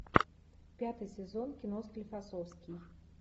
пятый сезон кино склифосовский